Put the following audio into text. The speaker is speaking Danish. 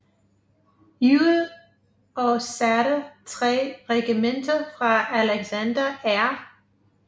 Ewell og satte 3 regimenter fra Alexander R